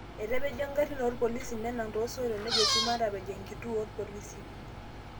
Etapejo ngarin opolisi ,nenang tosoitok nejo sii matapej enkituo opolisi.